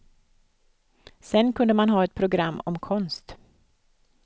Sen kunde man ha ett program om konst.